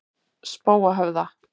Spóahöfða